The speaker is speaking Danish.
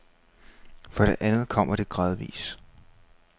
For det andet kommer det gradvis.